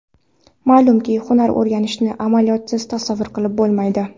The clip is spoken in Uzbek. Ma’lumki, hunar o‘rganishni amaliyotsiz tasavvur qilib bo‘lmaydi.